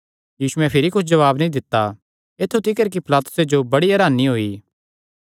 यीशुयैं भिरी कुच्छ जवाब नीं दित्ता ऐत्थु तिकर कि पिलातुस जो बड़ी हरानी होई